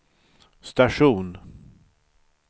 station